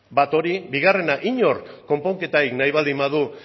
bat hori bigarrena inork konponketarik nahi baldin badu